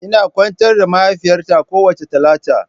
Ina kwantar da mahaifiyata kowace Talata.